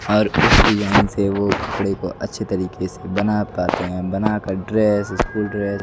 और इसको यहां से वो कपड़े को अच्छे तरीके से बना पाते हैं बनाकर ड्रेस स्कूल ड्रेस --